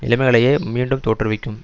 நிலைமைகளையே மீண்டும் தோற்றுவிக்கும்